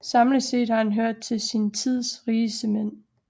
Samlet set har han hørt til sin tids rigeste mænd